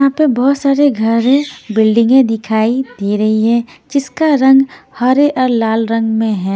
यहाँ पे बहोत सारे घर हैं बिल्डिंगें दिखाई दे रही हैं जिसका रंग हरे और लाल रंग में है।